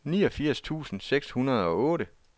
niogfirs tusind seks hundrede og otte